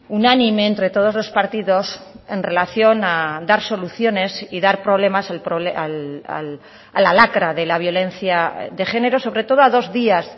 unánime entre todos los partidos en relación a dar soluciones y dar problemas a la lacra de la violencia de género sobre todo a dos días